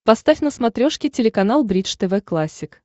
поставь на смотрешке телеканал бридж тв классик